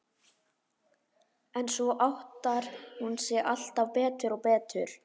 En svo áttar hún sig alltaf betur og betur.